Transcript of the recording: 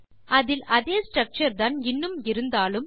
அதில் அதே ஸ்ட்ரக்சர் தான் இன்னும் இருந்தாலும்